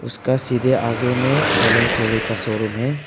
उसका सीधे आगे में एलेन सोले का शोरूम है।